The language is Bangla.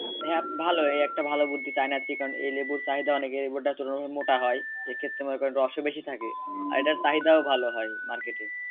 হ্যাঁ ভালই এ একটা ভালো বুদ্ধি চায়না সিকন এ লেবুর চাহিদা অনেক এ লেবু টা অনেক মোটা হয় এক্ষেত্রে মনে করেন রস ও বেশি থাকে আর এটার চাহিদাও ভালো হয় market এ